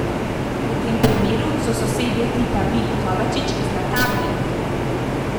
V tem primeru so sosedje tipa Vili Kovačič zlata vredni!